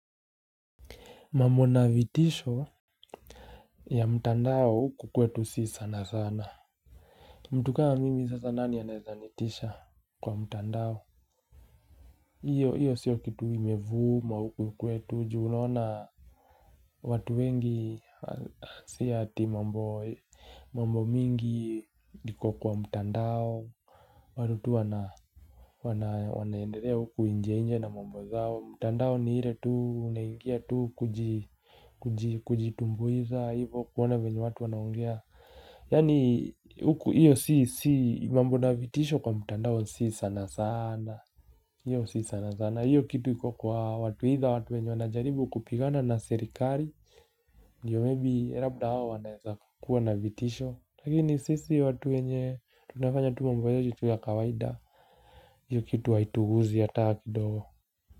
Mambo na vitisho ya mtandao huku kwetu sio sana sana, mtu kama mimi sasa nani anaweza nitisha kwa mtandao hiyo hiyo sio kitu imevuma huku kwetu juu naona watu wengi sio ati mambo mingi iko kwa mtandao watu tu wana Wanaendelea huku nje nje na mambo zao. Mtandao ni ile tu unaingia tu kuji Kujitumbuiza hivyo kuona vyenye watu wanaongea Yani huko hiyo sio mambo na vitisho kwa mtandao sio sana sana. Hiyo sio sana sana, hiyo kitu iko kwa watu aidha watu wenye wanajaribu kupigana na serikali Ndiyo maybe labda hao wanaweza kuwa na vitisho. Lakini sisi watu wenye tunafanya tu mambo yetu tu ya kawaida hiyo kitu haitugusi hata kidogo.